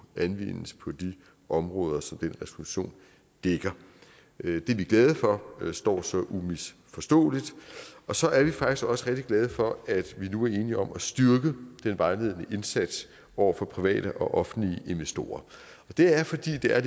anvendes på de områder som den resolution dækker det er vi glade for står så umisforståeligt så er vi faktisk også rigtig glade for at vi nu er enige om at styrke den vejledende indsats over for private og offentlige investorer det er fordi det er